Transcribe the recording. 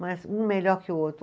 Mas um melhor que o outro.